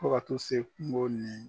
Fɔ ka tu se kungo nin.